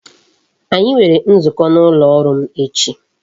Anyi nwere nzukọ n'ụlọ ọrụ m echi